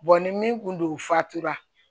ni min kun don fatura